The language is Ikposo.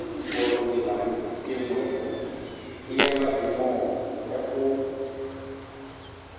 Ɛtʋfue ɔlɔdi lanʋtɛ keŋlo ɛkʋ eya aɣla dʋnʋ